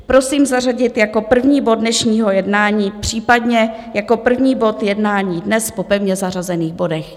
Prosím zařadit jako první bod dnešního jednání, případně jako první bod jednání dnes po pevně zařazených bodech.